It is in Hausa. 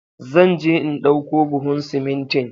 Zan je in ɗauko buhun simintin